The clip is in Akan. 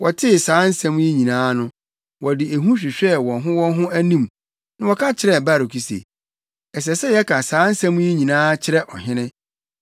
Wɔtee saa nsɛm yi nyinaa no, wɔde ehu hwehwɛɛ wɔn ho wɔn ho anim na wɔka kyerɛɛ Baruk se, “Ɛsɛ sɛ yɛka saa nsɛm yi nyinaa kyerɛ ɔhene.”